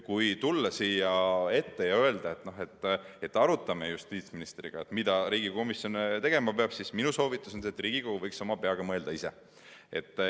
Kui tullakse siia ette ja öeldakse, et arutame justiitsministriga, mida Riigikogu komisjon tegema peab, siis minu soovitus on see, et Riigikogu võiks ise oma peaga mõelda.